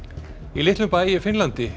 í litlum bæ í Finnlandi